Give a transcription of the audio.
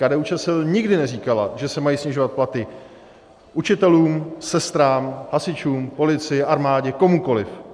KDU-ČSL nikdy neříkala, že se mají snižovat platy učitelům, sestrám, hasičům, policii, armádě, komukoliv.